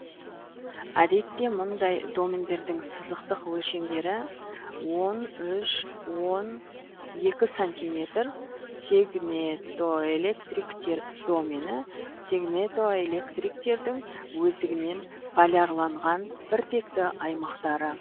әдетте мұндай домендердің сызықтық өлшемдері он үш он екі сантиметр сегнетоэлектриктер домені сегнетоэлектриктердің өздігінен полярланған біртекті аймақтары